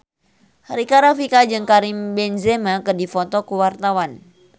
Rika Rafika jeung Karim Benzema keur dipoto ku wartawan